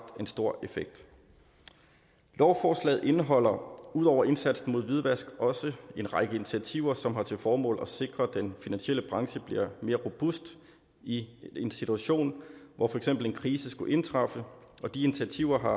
en stor effekt lovforslaget indeholder ud over indsatsen mod hvidvask også en række initiativer som har til formål at sikre at den finansielle branche bliver mere robust i en situation hvor for eksempel en krise skulle indtræffe og de initiativer har